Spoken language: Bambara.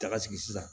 Daga sigi sisan